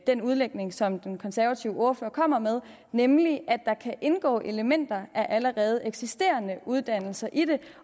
den udlægning som den konservative ordfører kommer med nemlig at der kan indgå elementer af allerede eksisterende uddannelser i det